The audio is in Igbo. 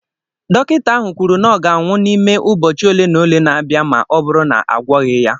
Dọkịta ahụ kwuru na ọ ga-anwụ n'ime ụbọchị ole na ole na-abịa ma ọ bụrụ na a gwọọghị ya